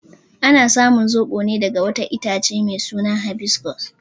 Ana samun zobo ne daga wata itace mai suna habiscus.